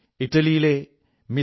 ഇറ്റലിയിലെ മിസ്